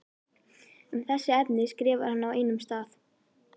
Um þessi efni skrifar hann á einum stað